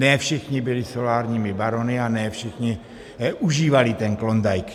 Ne všichni byli solárními barony a ne všichni využívají ten Klondike.